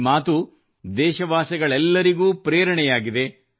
ಈ ಮಾತು ದೇಶವಾಸಿಗಳೆಲ್ಲರಿಗೂ ಪ್ರೇರಣೆಯಾಗಿದೆ